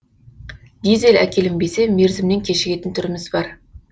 дизель әкелінбесе мерзімнен кешігетін түріміз бар